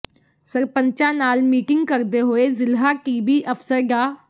ਸਰਪੰਚਾਂ ਨਾਲ ਮੀਟਿੰਗ ਕਰਦੇ ਹੋਏ ਜ਼ਿਲ੍ਹਾ ਟੀਬੀ ਅਫ਼ਸਰ ਡਾ